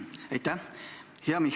Aitäh!